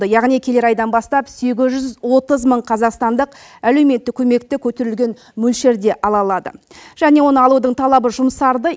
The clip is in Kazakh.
яғни келер айдан бастап сегіз жүз отыз мың қазақстандық әлеуметтік көмекті көтерілген мөлшерде ала алады және оны алудың талабы жұмсарды